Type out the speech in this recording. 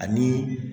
Ani